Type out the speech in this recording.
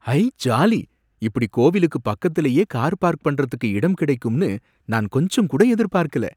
ஐ jolly! இப்படி கோவிலுக்கு பக்கத்துலயே கார் பார்க் பண்றதுக்கு இடம் கிடைக்கும்னு நான் கொஞ்சங்கூட எதிர்பார்க்கல